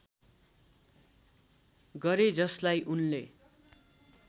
गरे जसलाई उनले